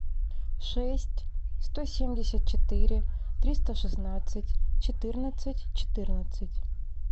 шесть сто семьдесят четыре триста шестнадцать четырнадцать четырнадцать